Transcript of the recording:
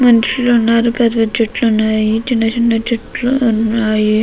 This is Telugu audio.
మనుషులు ఉన్నారు పెద్ధ పెద్ధ చెట్లు ఉన్నాయి. చిన్న చిన్న చెట్లు ఉన్నాయి.